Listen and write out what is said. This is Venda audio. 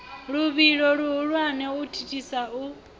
luvhilo luhulwane u thithisa u